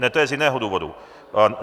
Ne, to je z jiného důvodu.